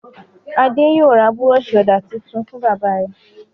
Adé yóò ra búrọ́ṣì ọ̀dà tuntun fún bàbá rẹ̀.